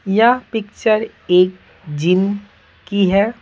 यह पिक्चर एक जीम की है।